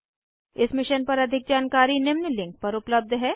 इस मिशन पर अधिक जानकारी निम्न लिंक पर उपलब्ध है